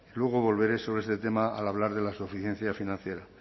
luego volveré sobre este tema al hablar de la suficiencia financiera